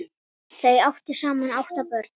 Þau áttu saman átta börn.